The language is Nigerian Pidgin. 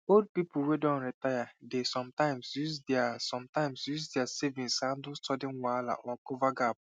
old people wey don retire dey sometimes use their sometimes use their savings handle sudden wahala or cover gap